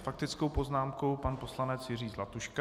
S faktickou poznámkou pan poslanec Jiří Zlatuška.